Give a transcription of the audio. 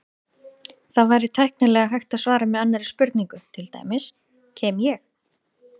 Það væri tæknilega hægt að svara með annarri spurningu, til dæmis: Kem ég?